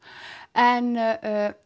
en